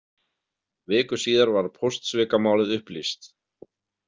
Viku síðar var póstsvikamálið upplýst.